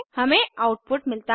हमें आउटपुट मिलता है